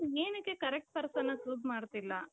but ಏನಕ್ಕೆ correct personನ choose ಮಾಡ್ತಿಲ್ಲ ?